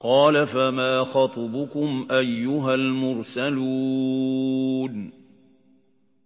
۞ قَالَ فَمَا خَطْبُكُمْ أَيُّهَا الْمُرْسَلُونَ